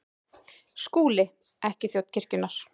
SKÚLI: Ekki þjón kirkjunnar.